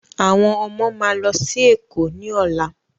Àwọn ọmọ máa lọ sí èkó ní ọ̀la